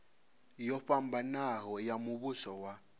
yo fhambanaho ya muvhuso wa